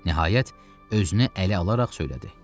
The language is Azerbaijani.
Nəhayət, özünü ələ alaraq söylədi: